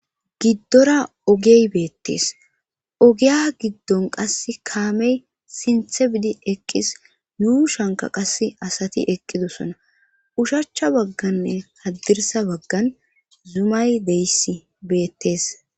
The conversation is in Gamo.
giddora ogey beettees ogiya giddon qase kaamey sinthe bidi eqqis yuushanka qass asati eqqidosona ushachcha bagganne haddirsa baggan zumay deyssi beettees